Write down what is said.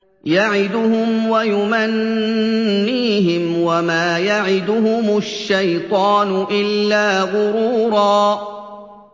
يَعِدُهُمْ وَيُمَنِّيهِمْ ۖ وَمَا يَعِدُهُمُ الشَّيْطَانُ إِلَّا غُرُورًا